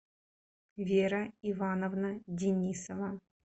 вера ивановна денисова